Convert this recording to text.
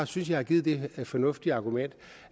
synes jeg har givet det fornuftige argument